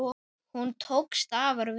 Hún tókst afar vel.